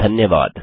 धन्यवाद